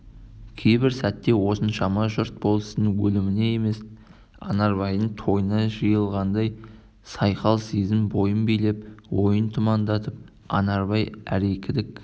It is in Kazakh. кейбір сәтте осыншама жұрт болыстың өліміне емес анарбайдың тойына жиылғандай сайқал сезім бойын билеп ойын тұмандатып анарбай әрекідік